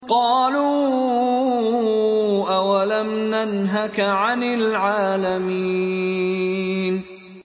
قَالُوا أَوَلَمْ نَنْهَكَ عَنِ الْعَالَمِينَ